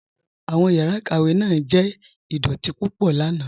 Awọn yàrá ikàwé náà jẹ̀ idọ̀tì púpọ̀ lànà.